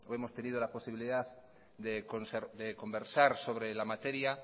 hemos tenido la posibilidad de conversar sobre la materia